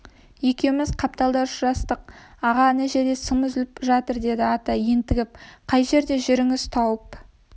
екеуіміз қапталда ұшырастық аға ана жерде сым үзіліп жатыр деді ата ентігіп қай жерде жүріңіз тауып